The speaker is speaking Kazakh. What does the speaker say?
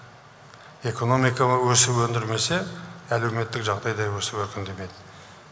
экономиканы өсіп өндірмесе әлеуметтік жағдай да өсіп өркендемейді